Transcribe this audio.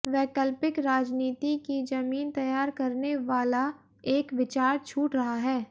वैकल्पिक राजनीति की जमीन तैयार करनेवाला एक विचार छूट रहा है